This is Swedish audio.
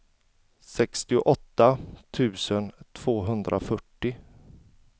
sextioåtta tusen tvåhundrafyrtio